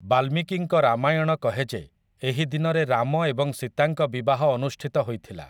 ବାଲ୍ମିକୀଙ୍କ ରାମାୟଣ କହେ ଯେ ଏହି ଦିନରେ ରାମ ଏବଂ ସୀତାଙ୍କ ବିବାହ ଅନୁଷ୍ଠିତ ହୋଇଥିଲା ।